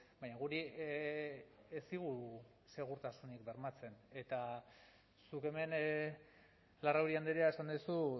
baina guri ez digu segurtasunik bermatzen eta zuk hemen larrauri andrea esan duzu